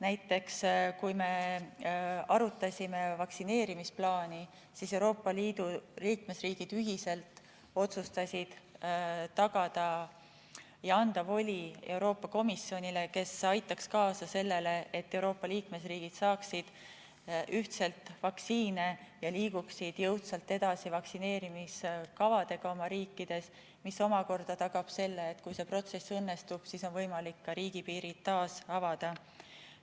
Näiteks, kui me arutasime vaktsineerimisplaani, siis otsustasid Euroopa Liidu riigid ühiselt anda voli Euroopa Komisjonile, kes aitaks kaasa sellele, et liikmesriigid saaksid ühtselt vaktsiine ja liiguksid jõudsalt edasi vaktsineerimiskavadega oma riikides, mis omakorda tagab selle, et kui see protsess õnnestub, siis on võimalik ka riigipiirid taas avada.